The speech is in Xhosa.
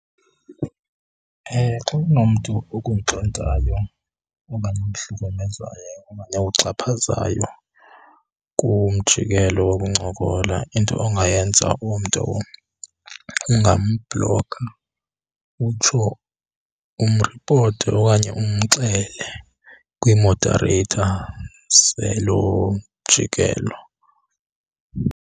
Xa unomntu okuntlontayo okanye okuhlukumezayo okanye okuxhaphazayo kumjikelo wokuncokola, into ongayenza umntu ungambhloka utsho umripote okanye umxele kwii-moderator zelo mjikelo.